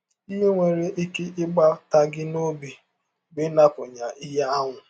Ihe nwere ike ịgbata gị n’ọbi bụ ịnapụ ya ihe ahụ.